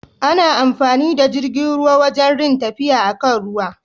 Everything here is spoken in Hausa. Ana amfani da jirgin ruwa wajan rin tafiya a kan ruwa.